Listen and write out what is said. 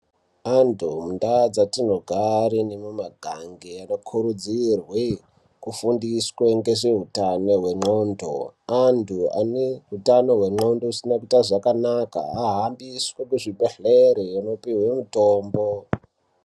Antu mundau dzatinogare nemumiganga anokurudzirwe kufundiswe ngezveutano hwenxlondo antu ane hutano hwenxlondo usina kuite zvakanaka ahambiswe kuzvibhehlere kopiwe mitombo.